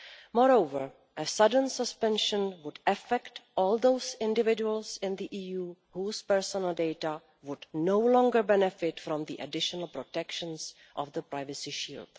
Moreover, a sudden suspension would affect all those individuals in the EU whose personal data would no longer benefit from the additional protections of the Privacy Shield.